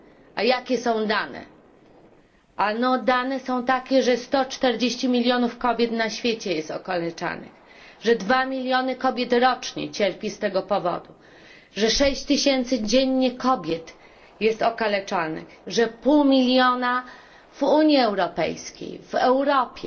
A jakie są dane? Dane są takie, że 140 milionów kobiet na świecie jest okaleczanych, że dwa miliony kobiet rocznie cierpią z tego powodu, że 6 tysięcy kobiet dziennie jest okaleczanych, a pół miliona w Unii Europejskiej, w Europie.